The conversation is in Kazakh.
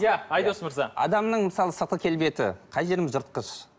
иә айдос мырза адамның мысалы сыртқы келбеті қай жеріміз жыртқыш